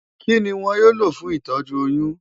Kí ni wọn yóò lò fún ìtọ́jú oyún?